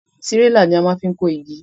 Tírélà ní a maá fi kó igi